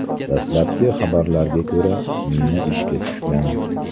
Dastlabki xabarlarga ko‘ra, mina ishga tushgan.